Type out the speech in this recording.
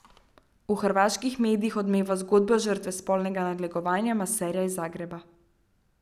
V hrvaških medijih odmeva zgodba žrtve spolnega nadlegovanja maserja iz Zagreba.